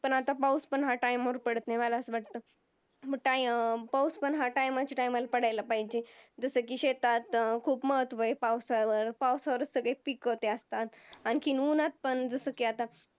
पण आता पाऊस पण ह्या Time वर पडत नाही, मला असं वाटतं अं पाऊस हा पण time च्या Time ला पडायला पाहिजे. जसं की शेतात खूप महत्व आहे पावसावर, पावसावरच सगळे पिकं ते असतात. आणखी उन्हात पण जसं की आता